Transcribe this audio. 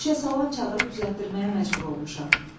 Şüşə salan çağırıb düzəltdirməyə məcbur olmuşam.